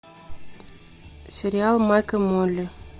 сериал майк и молли